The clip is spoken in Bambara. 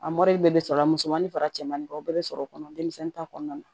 A bɛɛ bɛ sɔrɔ a musomanin fara cɛmanin kan o bɛɛ bɛ sɔrɔ o kɔnɔ denmisɛnnin ta kɔnɔna na